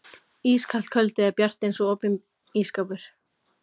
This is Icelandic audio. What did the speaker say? Ískalt kvöldið er bjart eins og opinn ísskápur.